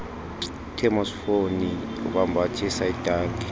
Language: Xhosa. ithemosifoni ukwambathisa itanki